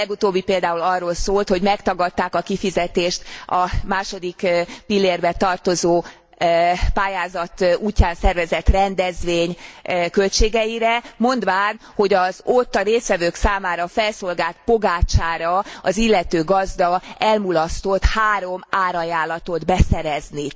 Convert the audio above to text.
A legutóbbi például arról szólt, hogy megtagadták a kifizetést a második pillérbe tartozó pályázat útján szervezett rendezvény költségeire, mondván, hogy ott a résztvevők számára felszolgált pogácsára az illető gazda elmulasztott három árajánlatot beszerezni.